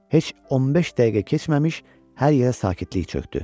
Heç 15 dəqiqə keçməmiş hər yerə sakitlik çökdü.